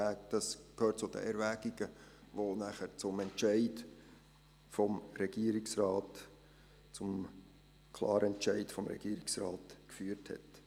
Das gehört zu den Erwägungen, die dann zum klaren Entscheid des Regierungsrates geführt haben.